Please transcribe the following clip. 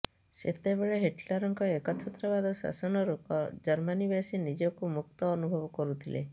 ସେତେବେଳେ ହିଟଲରଙ୍କ ଏକଛତ୍ରବାଦ ଶାସନରୁ ଜର୍ମାନୀବାସୀ ନିଜକୁ ମୁକ୍ତ ଅନୁଭବ କରୁଥିଲେ